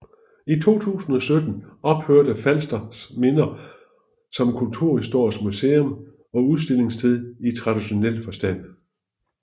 I 2017 ophørte Falsters Minder som kulturhistorisk musum og udstillingssted i traditionel forstand